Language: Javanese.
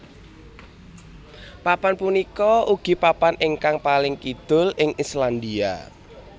Papan punika ugi papan ingkang paling kidul ing Islandia